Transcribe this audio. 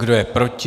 Kdo je proti?